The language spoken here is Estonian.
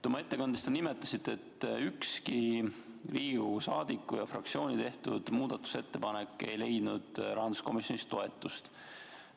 Te oma ettekandes nimetasite, et ükski Riigikogu liikme või fraktsiooni tehtud muudatusettepanek ei leidnud rahanduskomisjonis toetust.